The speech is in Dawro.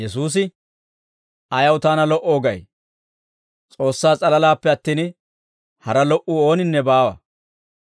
Yesuusi, «Ayaw taana lo"oo gay? S'oossaa s'alalaappe attin, hara lo"uu ooninne baawa.